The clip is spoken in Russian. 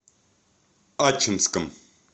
ачинском